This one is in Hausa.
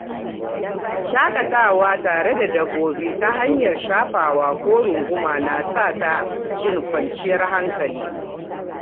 Shakatawa tare da dabba ta hanyar shafawa ko runguma na sa ta jin kwanciyar hankali.